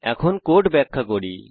এখন কোড ব্যাখ্যা করি